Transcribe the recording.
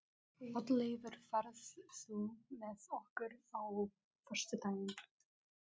Oddleifur, ferð þú með okkur á föstudaginn?